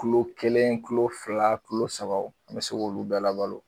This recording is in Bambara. Kulo kelen kulo fila kulo sabaw an bɛ se k'olu bɛɛ labalo.